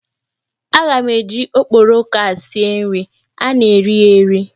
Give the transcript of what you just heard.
Aga m eji okporoko a sie nri, a na eri ya eri.